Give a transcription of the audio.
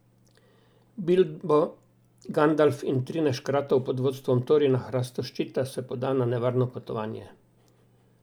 Bilbo, Gandalf in trinajst škratov pod vodstvom Torina Hrastoščita se poda na nevarno potovanje.